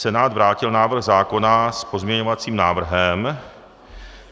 Senát vrátil návrh zákona s pozměňovacím návrhem.